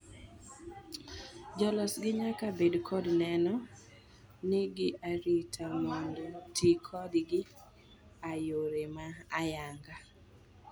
Jo losgi nyaka bed kod neno ni gi arita mondo tii kodgi a yore ma oyangi.